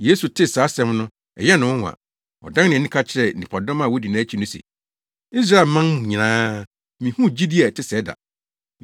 Yesu tee saa asɛm no, ɛyɛɛ no nwonwa. Ɔdan nʼani, ka kyerɛɛ nnipadɔm a wodi nʼakyi no se, “Israelman mu nyinaa, minhuu gyidi a ɛte sɛɛ da.